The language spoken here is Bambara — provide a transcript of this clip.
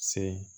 Se